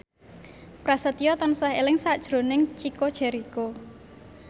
Prasetyo tansah eling sakjroning Chico Jericho